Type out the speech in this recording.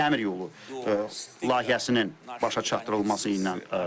Biz həmçinin dəmir yolu layihəsinin başa çatdırılması ilə məşğuluq.